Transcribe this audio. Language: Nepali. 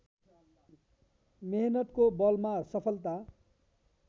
मेहनतको बलमा सफलता